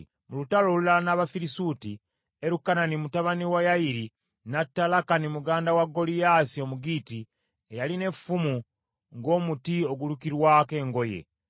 Mu lutalo olulala n’Abafirisuuti, Erukanani mutabani wa Yayiri n’atta Lakani muganda wa Goliyaasi Omugitti, eyalina olunyago lw’effumu olwali ng’omuti ogulukirwako engoye.